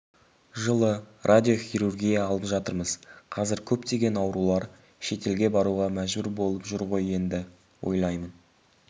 жылы радиохирургия алып жатырмыз қазір көптеген аурулар шетелге баруға мәжбүр болып жүр ғой енді ойлаймын